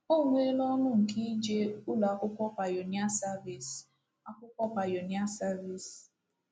O nweela ọṅụ nke ije Ụlọ Akwụkwọ Pioneer Service Akwụkwọ Pioneer Service.